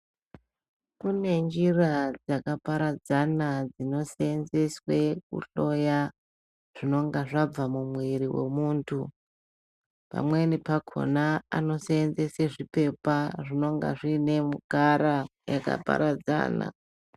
Kune njira dzakaparadzana dzinoseenzeswe kuhloya zvinonga zvabva mumwiri wemuntu. Pamweni pakhona anoseenzesa zviphepa zvinenge zviine mutara yakaparadzana.